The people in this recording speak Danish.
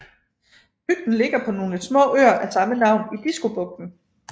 Bygden ligger på nogle små øer af samme navn i Diskobugten